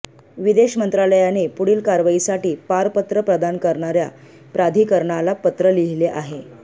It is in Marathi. विदेश मंत्रालयाने पुढील कारवाईसाठी पारपत्र प्रदान करणाऱया प्राधिकरणाला पत्र लिहिले आहे